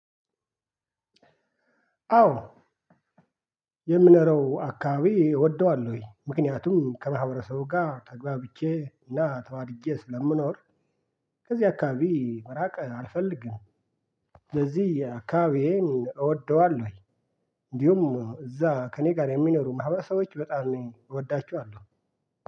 አዎ። የምኖረው አካባቢ እወደዋለሁኝ ምክንያቱም ከማህበረሰቡ ጋር ተግባብቼ እና ተዋድጄ ስለምኖር ከዚህ አካባቢ መራቅ አልፈልግም። ለዚህ አካባቢዬን እወደዋለሁኝ እንዲሁም እዛ ከእኔ ጋር የሚኖሩ ማህበረሰቦች በጣም እወዳቸዋለሁ።